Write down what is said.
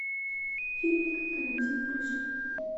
фильмик карантин включай